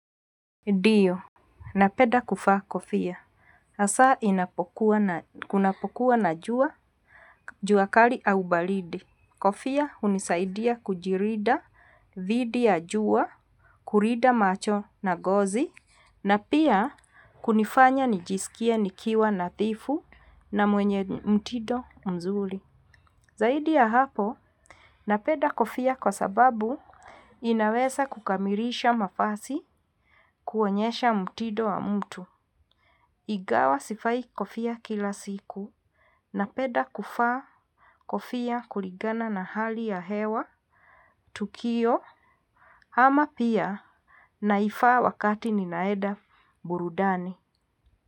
Ndio. Napenda kuvaa kofia. Hasa inapokuwa na kunapokuwa na jua, jua kali au baridi. Kofia hunisaidia kujilinda dhidi ya jua, kulinda macho na ngozi, na pia kunifanya nijisikie nikiwa nadhifu na mwenye mtido mzuri. Zaidi ya hapo, napenda kofia kwa sababu inaweza kukamilisha mavazi kuonyesha mtindo wa mtu. Ingawa sivai kofia kila siku, napenda kuvaa kofia kuligana na hali ya hewa, tukio, ama pia naivaa wakati ninaenda burudani.